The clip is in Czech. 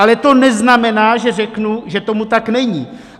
Ale to neznamená, že řeknu, že tomu tak není.